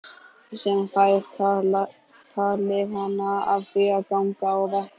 Sem fær talið hana af því að ganga á vatni.